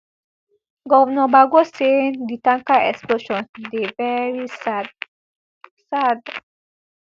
govnor bago say di tanker explosion dey veri sad sad